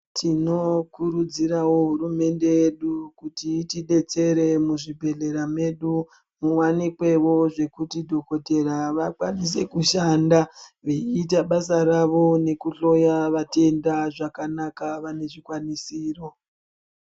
Tinokurudzirawo hurumende yedu kuti itidetsere muzvibhehlera medu muwanikwewo zvekuti dhokotera vakwanise kushanda veiita basa ravo nekuhloya vatenda zvakanaka vane zvikwanisiro.